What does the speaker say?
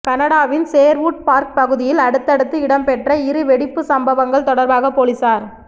கனடாவின் Sherwood Park பகுதியில் அடுத்தடுத்து இடம்பெற்ற இரு வெடிப்புச் சம்பவங்கள் தொடர்பாக பொலிஸார